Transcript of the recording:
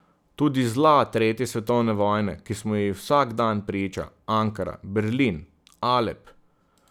Tudi zla tretje svetovne vojne, ki smo ji vsak dan priča, Ankara, Berlin, Alep ...